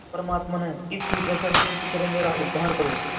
परमात्मन इस दुर्दशा से किसी तरह मेरा उद्धार करो